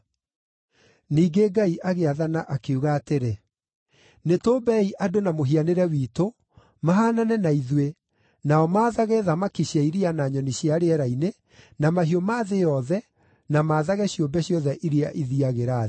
Ningĩ Ngai agĩathana, akiuga atĩrĩ, “Nĩtũũmbei andũ na mũhianĩre witũ, mahaanane na ithuĩ, nao maathage thamaki cia iria na nyoni cia rĩera-inĩ, na mahiũ ma thĩ yothe, na maathage ciũmbe ciothe iria ithiiagĩra thĩ.”